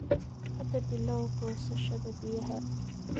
Hadda bilow goosashada biyaha.